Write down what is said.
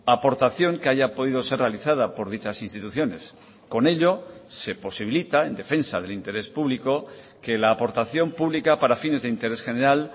aportación que haya podido ser realizada por dichas instituciones con ello se posibilita en defensa del interés público que la aportación pública para fines de interés general